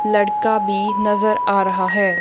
लड़का भी नजर आ रहा है।